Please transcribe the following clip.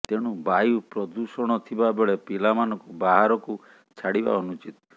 ତେଣୁ ବାୟୁ ପ୍ରଦୂଷଣ ଥିବା ବେଳେ ପିଲାମାନଙ୍କୁ ବାହାରକୁ ଛାଡିବା ଅନୁଚିତ